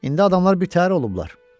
İndi adamlar birtəhər olublar.